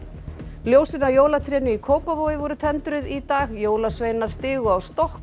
ljósin á jólatrénu í Kópavogi voru tendruð í dag jólasveinar stigu á stokk og